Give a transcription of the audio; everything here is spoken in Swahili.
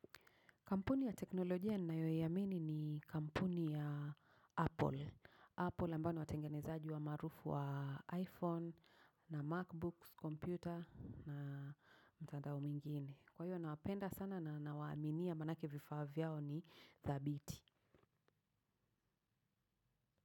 Kampuni ya teknolojia ninayoiamini ni kampuni ya apple. Apple ambayo ni watengenezaji maarufu wa iPhone na MacBooks kompyuta na mtandao mwingine. Kwa hio nawapenda sana nawaaminia manake vifaa vyao ni thabiti.